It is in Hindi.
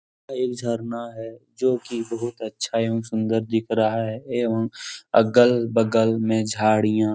एक झरना है जो की बहुत अच्छा एवं सुन्दर दिख रहा है एवं अगल-बगल में झाड़ियां --